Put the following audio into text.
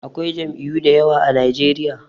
Akwai jam'iyu dayawa a najeriya